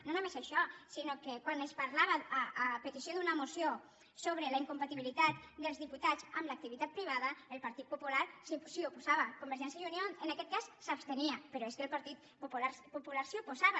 no només això sinó que quan es parlava a petició d’una moció sobre la incompatibilitat dels diputats amb l’activitat privada el partit popular s’hi oposava convergència i unió en aquest cas s’abstenia però és que el partit popular s’hi oposava